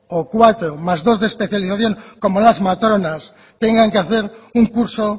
o cuatro más dos de especialización como las matronas tengan que hacer un curso